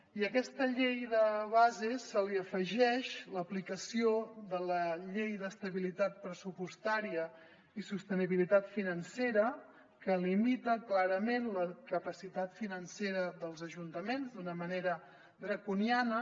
i a aquesta llei de base se li afegeix l’aplicació de la llei d’estabilitat pressupostària i sostenibilitat financera que limita clarament la capacitat financera dels ajuntaments d’una manera draconiana